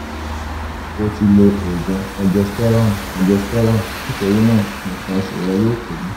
o ti lo oògùn regesterone regesterone nítorí náà nǹkan oṣù rẹ yóò pẹ́